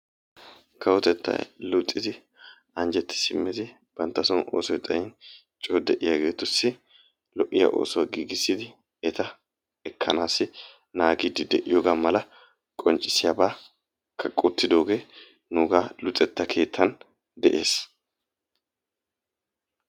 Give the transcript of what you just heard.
Kawotettay luxxid anjjeti simmidi banta son oosoy xayyin coo de'iyaageetussi lo'iya oosuwa gigissidi eta ekkanaassi naagidi de'iyoogaa mala qonccisiyabaakka qottidoogee nuugaa luxxetta keetan de'ees.